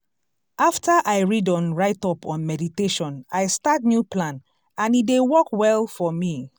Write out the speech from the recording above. after i read on write up on meditation i start new plan and e dey work well for me.